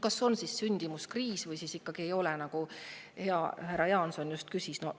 Kas meil on siis sündimuskriis või ikkagi ei ole, nagu hea härra Jaanson just küsis?